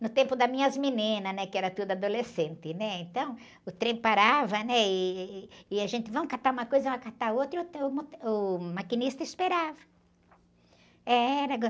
No tempo das minhas meninas, né? Que era tudo adolescente, né? Então, o trem parava, né? E, e, e a gente, vamos catar uma coisa, catar outra, e o, eh, uh, o maquinista esperava. Eh, era